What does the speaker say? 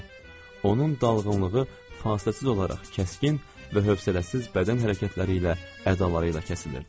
Onun dalğınlığı fasiləsiz olaraq kəskin və hövsələsiz bədən hərəkətləri ilə, ədaları ilə kəsilirdi.